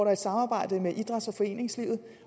er et samarbejde med idræts og foreningslivet